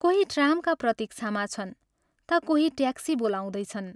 कोही ट्रामका प्रतीक्षामा छन् ता कोही ' ट्याक्सी ' बोलाउँदैछन्।